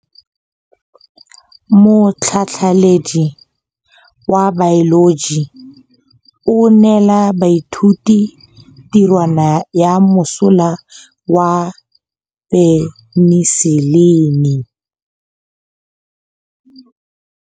Motlhatlhaledi wa baeloji o neela baithuti tirwana ya mosola wa peniselene.